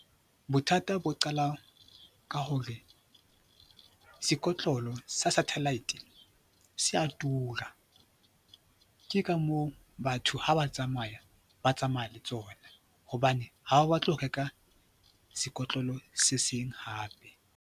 Bothata bo qala ka hore sekotlolo sa Satellite se a tura. Ke ka moo batho ha ba tsamaya, ba tsamaya le tsona hobane ha ba batle ho reka sekotlolo se seng hape.